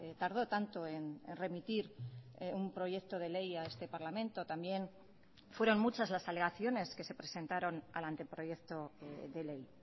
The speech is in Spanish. tardó tanto en remitir un proyecto de ley a este parlamento también fueron muchas las alegaciones que se presentaron al anteproyecto de ley